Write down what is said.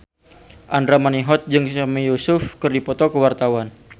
Andra Manihot jeung Sami Yusuf keur dipoto ku wartawan